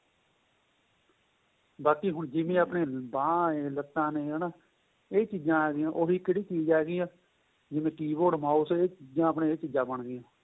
ਬਾਕੀ ਜਿਵੇਂ ਹੁਣ ਆਪਣੇਂ ਬਾਂਹ ਏ ਲੱਤਾ ਨੇ ਹੈਨਾ ਏਹ ਚੀਜਾਂ ਆਂ ਗਈਆਂ ਉਹ ਵੀ ਕਿਹੜੀ ਚੀਜ ਆਂ ਗਈ ਆਂ ਜਿਵੇਂ keyboard mouse ਏਹ ਚੀਜਾਂ ਆਪਣੇਂ ਏਹ ਚੀਜਾਂ ਬਣ ਗਈਆਂ